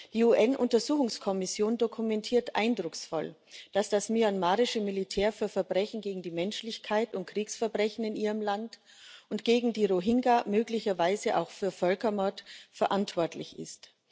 Die UN Untersuchungskommission dokumentiert eindrucksvoll, dass das myanmarische Militär für Verbrechen gegen die Menschlichkeit und Kriegsverbrechen in seinem Land und gegen die Rohingya möglicherweise auch für Völkermord verantwortlich ist.